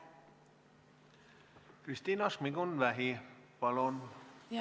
Kristina Šmigun-Vähi, palun!